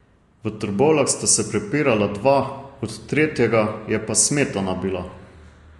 V Trbovljah sta se prepirala dva, od tretjega je pa smetana bila.